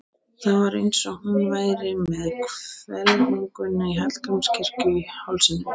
Það var eins og hún væri með hvelfinguna í Hallgrímskirkju í hálsinum.